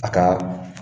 A ka